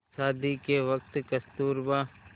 शादी के वक़्त कस्तूरबा